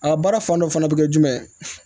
A baara fan dɔ fana bɛ kɛ jumɛn ye